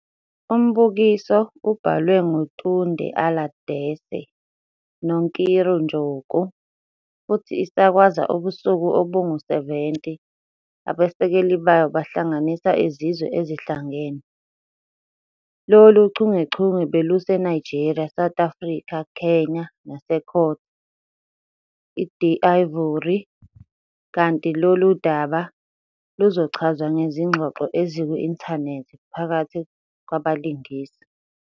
Umbukiso ubhalwe nguTunde Aladese noNkiru Njoku. futhi isakazwa ubusuku obungu-70 - abasekeli bayo bahlanganisa iZizwe Ezihlangene. Lolu chungechunge beluseNigeria, South Africa, Kenya naseCôte d'Ivoire kanti lolu daba luzochazwa ngezingxoxo eziku-inthanethi phakathi kwabalingisi.